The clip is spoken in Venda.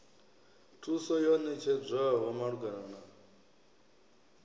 thuso yo ṋetshedzwaho malugana na